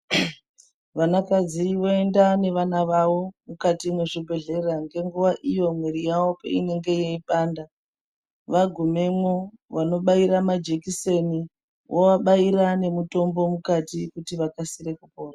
Vanakadzi voenda nevana vavo mukati mwezvibhedhlera ngenguwa iyo mwiri yavo peinenge yeipanda vagumemwo vanobaira majekiseni vovabaira nemitombo mukati kuti vakasire kupona.